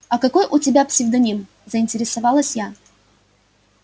а какой у тебя псевдоним заинтересовалась я